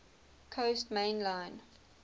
coast main line